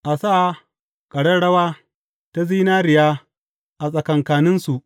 A sa ƙararrawa ta zinariya a tsakankaninsu.